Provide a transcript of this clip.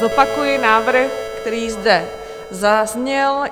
Zopakuji návrh, který zde zazněl.